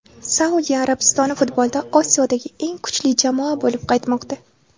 Saudiya Arabistoni futbolda Osiyodagi eng kuchli jamoa bo‘lib qaytmoqda”.